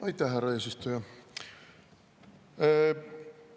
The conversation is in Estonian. Aitäh, härra eesistuja!